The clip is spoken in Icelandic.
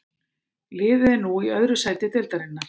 Liðið er nú í öðru sæti deildarinnar.